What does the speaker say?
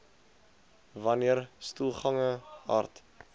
wanneer stoelgange hard